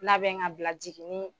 Labɛn ŋ'a bila jiginii